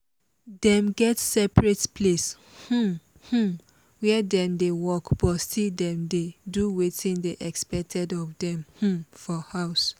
dem get separate place um um where dem dey work but still dem dey do wetin dey expected of dem um for house